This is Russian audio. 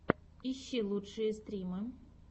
ищи лучшие стримы